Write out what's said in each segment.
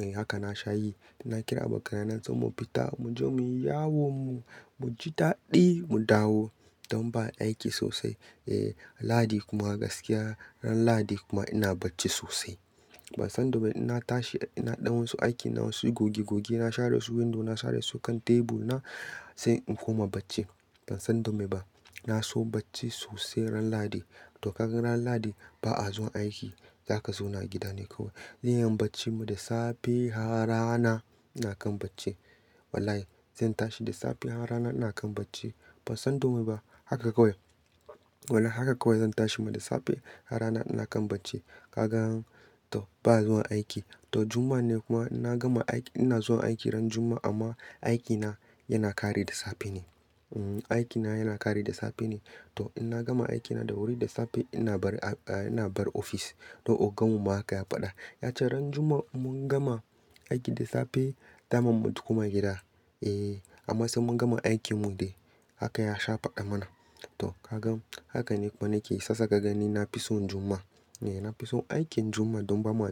Eh haka na shayi. Na kira abokanaye na sai mu fita, mu je mu yi yawon mu, mu ji daɗi mu dawo. Don ba aiki sosai. Eh, Ladi kuma gaskiya ran Ladi kuma ina bacci sosai. Ban san da mai, in na tashi ina ɗan wasu aikina wasu goge goge, na share su window, na share su kan teburina sai in koma bacci. Ban san da mai ba. Na so bacci sosai ran Ladi. To kaga ran Ladi ba a zuwa aiki. Zaka zauna gida ne kawai. Zan iya yin bacci da safe har rana ina kan bacci. Wallahi! Zan tashi da safe har rana ina kan bacci. Ban san da me ba. Haka kawai. Wallahi haka kawai zan tashi ma da safe har rana ina kan bacci. Kaga, to ba zuwa aiki. To Juma'a ne kuma ina gama aiki, ina zuwa aiki ran Juma'a amma aikina yana karewa da safe ne. Umm, aikina yana karewa da safe ne. To in na gama aikina da wuri da safe ina barin ofis. To ogan mu ma haka ya faɗa. Ya ce ran Juma'a in mun gama aiki da safe, daman mu kuma gida. Eh, amma sai mun gama aikin mu dai. Haka ya sha faɗa mana. To ka gan haka ne kuma nake. Shiyasa ka gan ni na fi son Juma'a. Eh, na fi son aikin Juma'a don ba ma,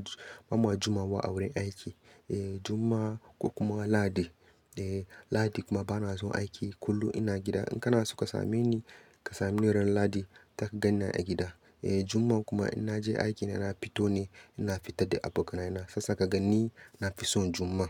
ba ma Jumawa a wurin aiki. Eh, Juma'a ko kuma Ladi. Eh, Ladi kuma ba na zuwa aiki. Kullum ina gida. In kana so ka same ni, ka same ni ran Ladi, zaka gani a gida. Eh, Juma'a kuma in na je aiki ina fito ne, ina fita da abokanaye na. Sasa ka ganni na fi son Juma'a.